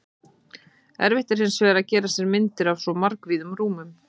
Erfitt er hins vegar að gera sér myndir af svo margvíðum rúmum.